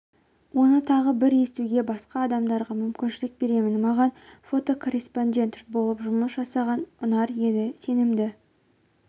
оны тағы бір естуге басқа дамдарға мүмкіншлік беремін маған фотокорреспондент болып жұмыс жасаған ұнар еді сенімді